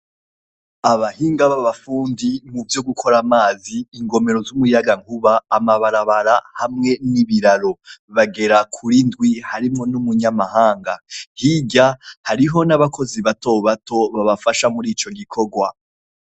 Abahinga bafundi muvyo gukor' amazi, ingomero z' umuyaga nkuba, amabarabara, hamwe n' ibiraro bagera kur' indwi harimwo n' umunyamahanga, hirya hariho n' abakozi batobato babafasha mur' ico gikogwa.